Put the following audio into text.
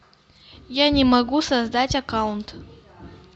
я не могу создать аккаунт